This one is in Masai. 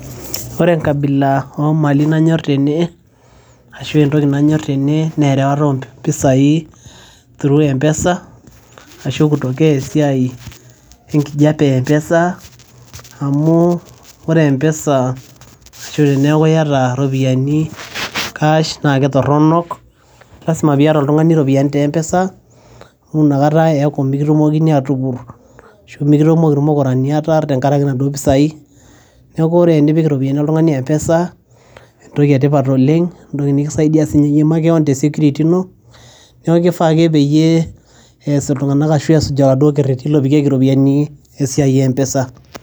Ore enkabila oo mali nanyoor tene ashu entoki nanyor tene naa erewata oo mpisai through mpesa ashu kutokea esiai enkijape ee mpesa amuu ore mpesa ashu teneeku iyata iropiani cash naa kitoronok. Lazima piyata oltung'ani iropiani te mpesa amu inakata eeku mikitomokinj atupur, ashu mikitumoki irmukurani ataar tenkaraki naduo pesai. Neeku ore enipik iropiani oltung'ani mpesa entoki etipat oleng', entoki nikisaidia sii makeon te secret ino, neeku kifaa ake peyie eyas iltung'ana ashu esuj oladuo kereti lopikieki iropini esiai ee mpesa.